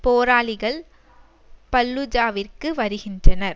போராளிகள் பல்லூஜாவிற்கு வருகின்றனர்